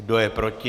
Kdo je proti?